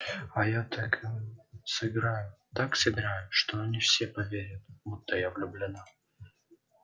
а я так им сыграю так сыграю что они все поверят будто я влюблена